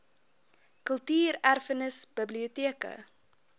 kultuur erfenis biblioteke